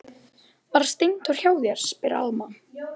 Var Steindór hjá þér, spyr Alma.